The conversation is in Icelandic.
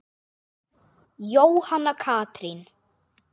Jóhanna Katrín.